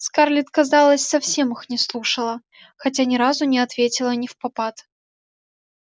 скарлетт казалось совсем их не слушала хотя ни разу не ответила невпопад